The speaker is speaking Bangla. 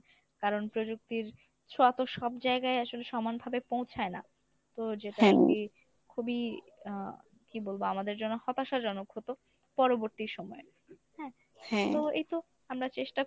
কারণ প্রযুক্তির ছোঁয়া তো সব জায়গায় আসলে সমানভাবে পৌঁছায় না। তো যেটা খুবই আহ কী বলবো আমাদের জন্য হতাশাজনক হত পরবর্তী সময়ে হ্যাঁ তো এইতো আমরা চেষ্টা